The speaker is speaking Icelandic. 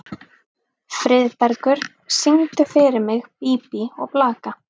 Friðbergur, syngdu fyrir mig „Bí bí og blaka“.